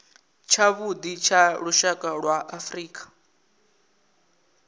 tshavhuḓi tsha lushaka lwa afrika